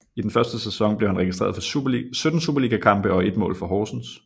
I den første sæson blev han registreret for 17 superligakampe og ét mål for Horsens